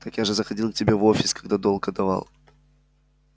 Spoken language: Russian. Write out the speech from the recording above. так я же заходил к тебе в офис когда долг отдавал